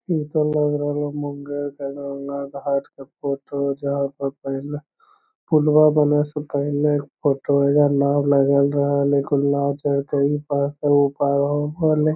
इ तो लग रहलो मुंगेर के गंगा घाट के फोटो हेय जहां पर पहिले पुल्वा बने से पहले के फोटो एजा नाव लगल रहे इ पार से उ पार --